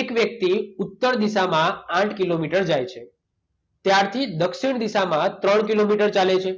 એક વ્યક્તિ ઉત્તર દિશામાં આઠ કિલોમીટર જાય છે. ત્યારથી દક્ષિણ દિશામાં ત્રણ કિલોમીટર ચાલે છે.